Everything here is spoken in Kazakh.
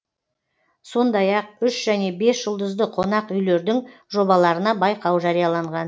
сондай ақ үш және бес жұлдызды қонақ үйлердің жобаларына байқау жарияланған